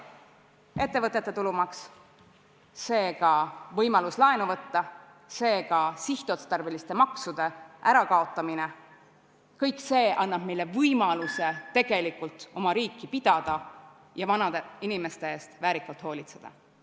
Ettevõtete tulumaks, võimalus laenu võtta, sihtotstarbeliste maksude ärakaotamine – kõik see annab meile võimaluse tegelikult oma riiki pidada ja vanade inimeste eest väärikalt hoolitseda.